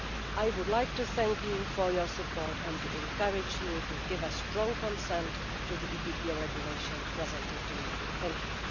I would like to thank you for your support and to encourage you to give a strong consent to the EPPO regulation presented to you.